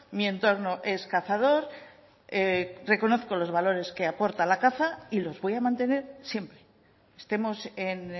mi entorno es cazador reconozco los valores que aporta la caza y los voy a mantener siempre estemos en